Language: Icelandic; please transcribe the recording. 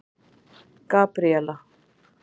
Gabríella